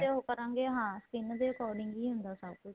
ਤੇ ਉਹ ਕਰਾਂਗੇ ਹਾਂ skin ਦੇ according ਹੁੰਦਾ ਸਭ ਕੁੱਝ